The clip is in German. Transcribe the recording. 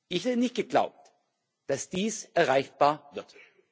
Ich hätte nicht geglaubt, dass dies erreichbar wird.